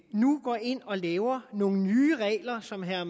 nu ind og laver nogle nye regler som herre